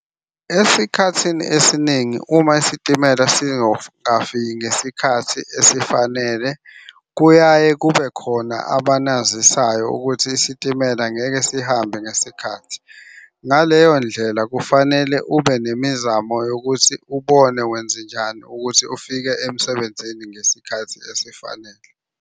Esikhathini esiningi uma isitimela singakafiki ngesikhathi esifanele, kuyaye kube khona abanazisayo ukuthi isitimela ngeke sihambe ngesikhathi. Ngaleyo ndlela kufanele ube nemizamo yokuthi ubone wenzenjani ukuthi ufike emsebenzini ngesikhathi esifanele.